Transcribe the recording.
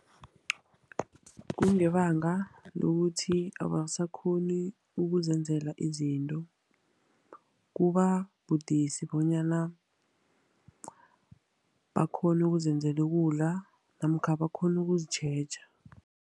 Kungebanga lokuthi abasakghoni ukuzenzela izinto. Kuba budisi bonyana bakghone ukuzenzela ukudla, namkha bakghone ukuzitjheja.